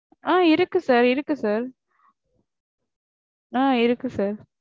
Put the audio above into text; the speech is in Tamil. ஆஹ் இருக்கு sir இருக்கு sir. ஆஹ் இருக்கு sir